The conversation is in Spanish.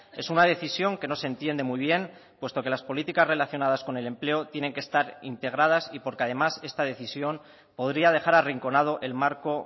es una decisión que no se entiende muy bien puesto que las políticas relacionadas con el empleo tienen que estar integradas y porque además esta decisión podría dejar arrinconado el marco